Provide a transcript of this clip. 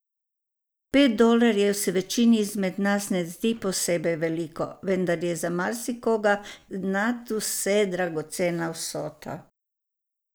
Pet dolarjev se večini izmed nas ne zdi posebej veliko, vendar je za marsikoga nadvse dragocena vsota.